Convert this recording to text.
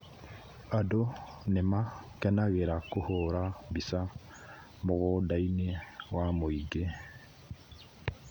Andũ nĩ makenagĩra kũhũũra mbica mũgũnda-inĩ wa mũingĩ.